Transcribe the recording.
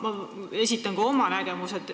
Ma esitan ka oma nägemuse.